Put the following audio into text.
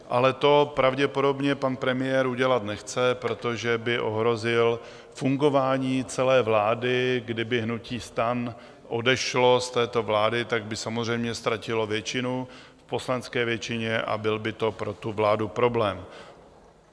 Ale to pravděpodobně pan premiér udělat nechce, protože by ohrozil fungování celé vlády, kdyby hnutí STAN odešlo z této vlády, tak by samozřejmě ztratila většinu v poslanecké většině a byl by to pro tu vládu problém.